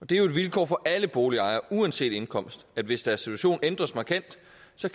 det er jo et vilkår for alle boligejere uanset indkomst at hvis deres situation ændres markant